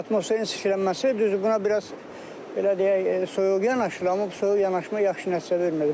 Atmosferin çirklənməsi, düzdü buna biraz belə deyək, soyuq yanaşılır, amma bu soyuq yanaşma yaxşı nəticə vermir.